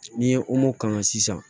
N'i ye kalan sisan